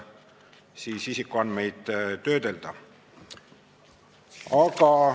" Tegemist on nimelt olukorraga, kus enam kui sadat valdkonnaseadust muudetakse seoses andmekaitseseaduses tehtud muudatustega.